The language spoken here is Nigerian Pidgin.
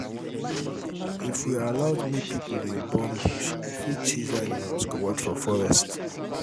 if we dey allow make people dey burn bush e fit chase animals comot forest